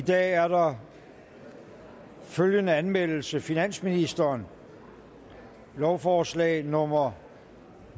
i dag er der følgende anmeldelse finansministeren lovforslag nummer